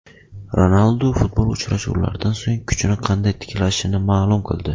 Ronaldu futbol uchrashuvlaridan so‘ng kuchini qanday tiklashini ma’lum qildi.